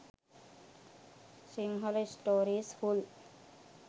sinhala stories full